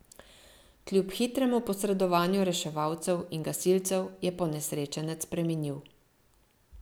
Kljub hitremu posredovanju reševalcev in gasilcev je ponesrečenec preminil.